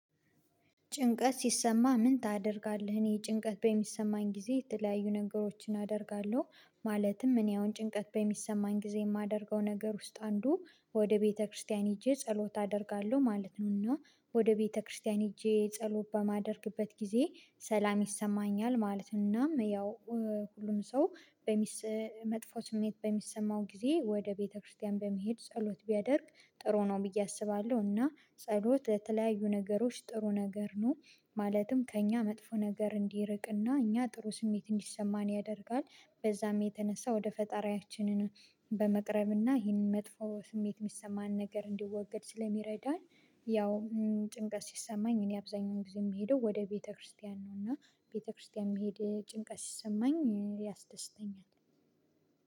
ጭንቀት ሲሰማ ምን ታደርጋለህ? እኔ ጭንቀት በሚሰማኝ ጊዜ የተለያዩ ነገሮችን አደርጋለሁ። ማለትም እኔ አሁን ጭንቀት በሚሰማኝ ጊዜ የማደርገው ነገር ውስጥ አንዱ ወደ ቤተክርስቲያን ሄጄ ጸሎት አደርጋለሁ ማለት ነውና ወደ ቤተክርስቲያን ሄጄ ጸሎት በማደርግበት ጊዜ ሰላም ይሰማኛል ማለት ነው። እናም ያው ሁሉም ሰው መጥፎ ስሜት በሚሰማው ጊዜ ወደ ቤተክርስቲያን በመሄድ ጸሎት ቢያደርግ ጥሩ ነው ብዬ አስባለሁ እና ጸሎት የተለያዩ ነገሮች ጥሩ ነገር ነው። ማለትም ከእኛ መጥፎ ነገር እንዲርቅና እኛ ጥሩ ስሜት እንዲሰማን ያደርጋል። በዛም የተነሳ ወደ ፈጣሪያችንን በመቅረብና ይህንን መጥፎ ስሜት የሚሰማን ነገር እንዲወገድ ስለሚረዳን። ያው ጭንቀት ሲሰማኝ እኔ አብዛኛውን ጊዜ የምሄደው ወደ ቤተክርስቲያን ነው። እና ቤተክርስቲያን የሚሄድ ጭንቀት ሲሰማኝ ያስደስተኛል።